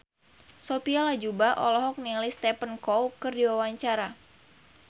Sophia Latjuba olohok ningali Stephen Chow keur diwawancara